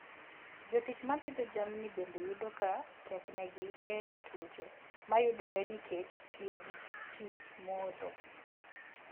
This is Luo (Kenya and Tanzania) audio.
Jotich ma pidho jamni bende yudo ka teknegi geng'o tuoche mayudore nikech tiyo gi pi modho.